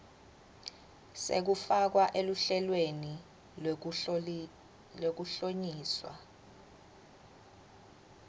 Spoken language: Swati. sekufakwa eluhlelweni lwekuhlonyiswa